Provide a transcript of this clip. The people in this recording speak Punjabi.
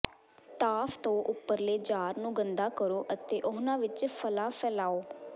ਭਾਫ਼ ਤੋਂ ਉਪਰਲੇ ਜਾਰ ਨੂੰ ਗੰਦਾ ਕਰੋ ਅਤੇ ਉਨ੍ਹਾਂ ਵਿੱਚ ਫਲਾਂ ਫੈਲਾਓ